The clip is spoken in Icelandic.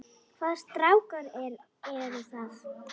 Hvaða strákar eru það?